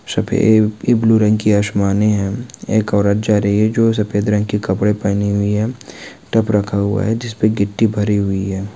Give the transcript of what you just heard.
सफे-ए blue रंग की आसमानी है एक औरत जा रही है जो सफेद रंग के कपड़े पहनी हुई है ताप रखा हुआ है जिसपे गिट्टी भरी हुई है।